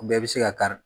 U bɛɛ bɛ se ka kari